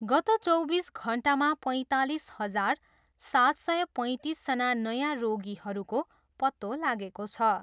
गत चौबिस घन्टामा पैँतालिस हजार, सात सय पैँतिसजना नयाँ रोगीहरूको पत्तो लागेको छ।